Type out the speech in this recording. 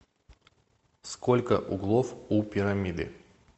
сколько углов у пирамиды